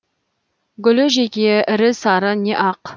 гүлі жеке ірі сары не ақ